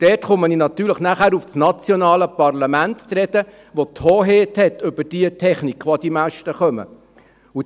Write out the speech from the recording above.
Und dort komme ich natürlich nachher auf das nationale Parlament zu sprechen, das die Hoheit über die Technik, die auf diese Masten kommt, hat.